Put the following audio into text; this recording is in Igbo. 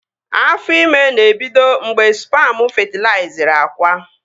Afọ ime na-ebido mgbe spamu fetilaizịrị akwa